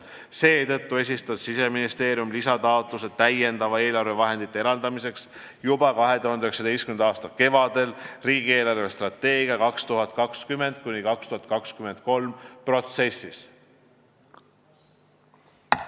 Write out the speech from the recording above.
Seetõttu esitab Siseministeerium lisataotluse täiendavate eelarvevahendite eraldamiseks juba 2019. aasta kevadel riigi eelarvestrateegia 2020–2023 protsessis.